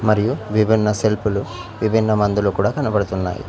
మరియు విబిన్న సెల్ఫులు విబిన్న మందులు కూడా కనబడుతున్నాయి.